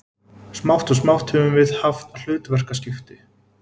Smátt og smátt höfum við haft hlutverkaskipti.